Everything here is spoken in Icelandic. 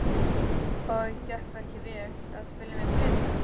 Og gekk það ekki vel. að spila með plötum?